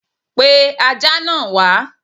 Pe Ajá náà wá!